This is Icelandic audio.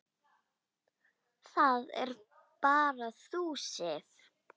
Það ert bara þú, Sif.